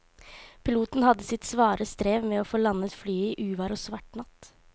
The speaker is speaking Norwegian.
Piloten hadde sitt svare strev med å få landet flyet i uvær og svart natt.